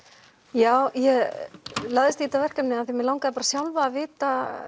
já ég lagðist í þetta verkefni af því mig langaði sjálfa að vita